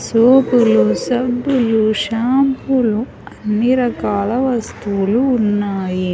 సోపులు సబ్బులు షాంపులు అన్ని రకాల వస్తువులు ఉన్నాయి.